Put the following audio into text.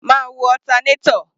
Máa wo alternator.